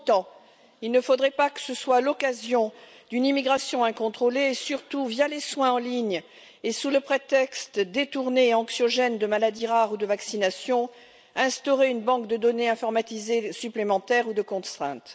Pour autant, il ne faudrait pas que ce soit l'occasion d'une immigration incontrôlée et, surtout via les soins en ligne et sous le prétexte détourné et anxiogène de maladies rares ou de vaccination, instaurer une banque de données informatisée supplémentaire ou de contrainte.